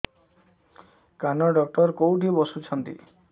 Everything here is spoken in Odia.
କାନ ଡକ୍ଟର କୋଉଠି ବସୁଛନ୍ତି